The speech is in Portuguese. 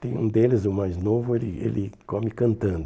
Tem um deles, o mais novo, ele ele come cantando.